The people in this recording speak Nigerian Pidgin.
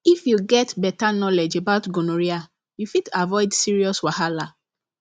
if you get better knowledge about gonorrhea you fit avoid serious wahala